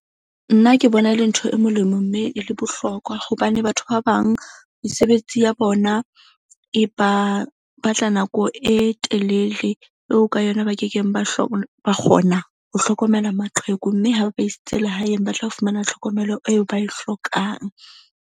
Nna ke bona e le ntho e molemo mme e le bohlokwa hobane batho ba bang mesebetsi ya bona e ba batla nako e telele eo ka yona ba kekeng ba ba kgona ho hlokomela maqheku. Mme ha ba isitse lehaeng, ba tla fumana tlhokomelo eo ba e hlokang.